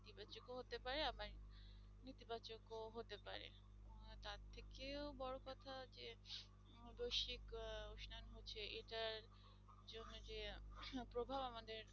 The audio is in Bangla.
এর থেকেও বড়ো কথা যে আকস্মিক উশ্নায়ন হচ্ছে এটার জন্যে যে প্রভাব আমাদের